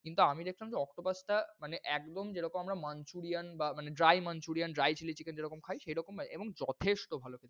কিন্তু আমি দেখলাম যে octopus টা মানে একদম যেরকম আমরা manchurian বা dry manchurian, dry chili chicken যেরকম খাই সেইরকম এবং যথেষ্ট ভালো।